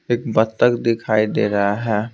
एक बत्तक दिखाई दे रहा है।